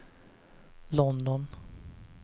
London